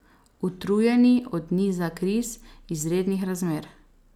Utrujeni od niza kriz, izrednih razmer.